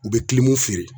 U bɛ feere